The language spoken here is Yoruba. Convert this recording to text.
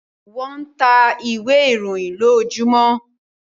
wón tá ìwé ìròyìn lojojumọ